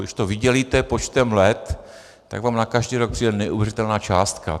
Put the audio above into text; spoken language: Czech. Když to vydělíte počtem let, tak vám na každý rok přijde neuvěřitelná částka.